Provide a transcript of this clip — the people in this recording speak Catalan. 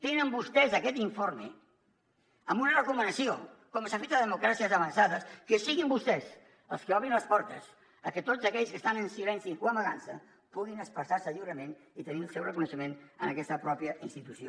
tenen vostès aquest informe amb una recomanació com s’ha fet a les democràcies avançades que siguin vostès els que obrin les portes a que tots aquells que estan en silenci o amagant se puguin expressar se lliurement i tenir el seu reconeixement en aquesta pròpia institució